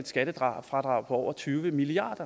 skattefradrag på over tyve milliard